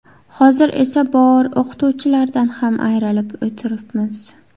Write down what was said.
Hozir esa bor o‘qituvchilardan ham ayrilib o‘tiribmiz.